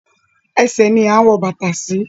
Ẹsẹ̀ ni à ń wo bàtà sí